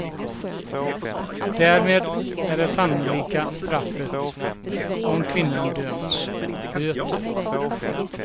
Därmed är det sannolika straffet, om kvinnan döms, böter.